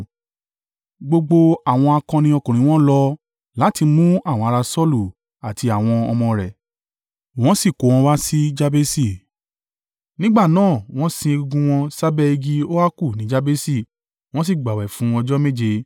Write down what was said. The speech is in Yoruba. gbogbo àwọn akọni ọkùnrin wọn lọ láti mú àwọn ará Saulu àti àwọn ọmọ rẹ̀, wọ́n sì kó wọn wá sí Jabesi. Nígbà náà, wọ́n sin egungun wọn sábẹ́ igi óákù ní Jabesi, wọ́n sì gbààwẹ̀ fún ọjọ́ méje.